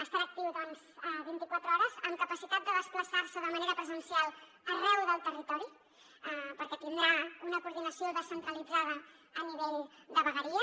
estarà actiu vint i quatre hores amb capacitat de desplaçar se de manera presencial arreu del territori perquè tindrà una coordinació descentralitzada a nivell de vegueria